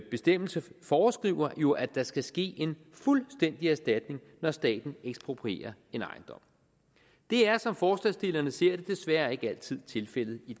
bestemmelse foreskriver jo at der skal ske en fuldstændig erstatning når staten eksproprierer en ejendom det er som forslagsstillerne ser det desværre ikke altid tilfældet i